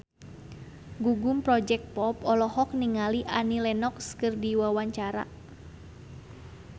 Gugum Project Pop olohok ningali Annie Lenox keur diwawancara